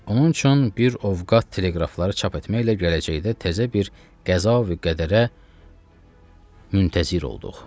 Onun üçün bir ovqat teleqrafları çap etməklə gələcəkdə təzə bir qəza və qədərə müntəzir olduq.